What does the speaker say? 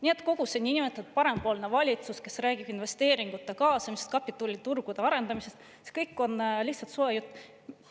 " Nii et kogu see niinimetatud parempoolne valitsus küll räägib investeeringute kaasamisest ja kapitaliturgude arendamisest, aga see kõik on lihtsalt soe jutt.